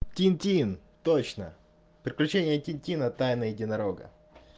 тинтин точно приключения тинтина тайна единорога